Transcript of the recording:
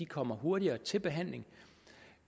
kommer hurtigere til behandling